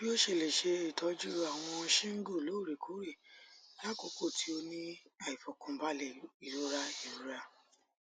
bii o se le se itoju awon shingle loorekoore lakoko ti o ni aifokanbale irora irora